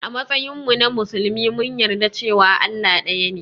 A matsayinmu na musulmi mun yarda cewa Allah ɗaya ne.